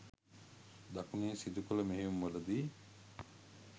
දකුණේ සිදුකළ මෙහෙයුම්වලදී